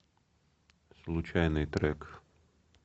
случайный трек